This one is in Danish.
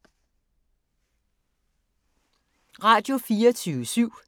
Radio24syv